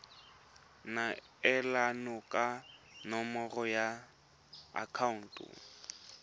neelana ka nomoro ya akhaonto